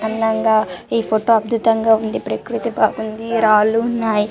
అందంగా ఏ ఫోటో అద్భుతంగా వుంది ప్రక్రుతి బాగుంది రాళ్ళూ ఉన్నాయ్ .